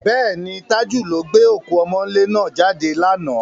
Bẹ́ẹ̀ni, Tájù ló gbé òkú ọmọ́ńlé náà jáde lánàá.